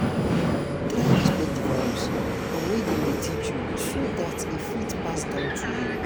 try respect di values and wey dem de teach so that e fit pass down to you